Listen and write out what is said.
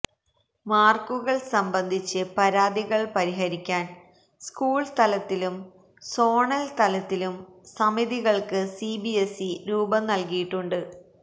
മാർക്കുകൾ സംബന്ധിച്ച് പരാതികൾ പരിഹരിക്കാൻ സ്കൂൾ തലത്തിലും സോണൽ തലത്തിലും സമിതിക്കൾക്ക് സിബിഎസ്ഇ രൂപം നൽകിയിട്ടുണ്ട്